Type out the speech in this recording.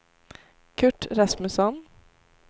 Kurt Rasmusson